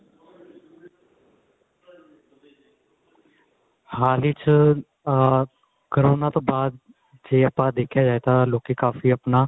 ਹਾਲ ਈ ਚ ਆ ਕੋਰੋਨਾ ਤੋਂ ਬਾਅਦ ਜੇ ਆਪਾਂ ਦੇਖਿਆ ਜਾਏ ਤਾਂ ਲੋਕੀ ਕਾਫੀ ਆਪਣਾ